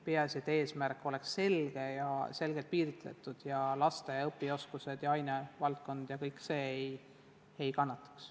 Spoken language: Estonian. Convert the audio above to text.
Peaasi, et eesmärk oleks selgelt piiritletud ja et laste õpioskused ja ainevaldkonna teadmised ei kannataks.